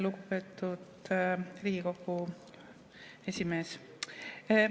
Lugupeetud Riigikogu esimees!